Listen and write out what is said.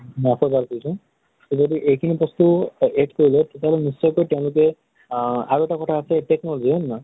মই আকৌ এবাৰ কৈছো, যদি এইখিনি বস্তু অ add কৰি লয়, তেতিয়াহʼলে নিশ্চয়কৈ তেওঁলোকে আ আৰু এটা কথা আছে, technology হয় নে নহয় ?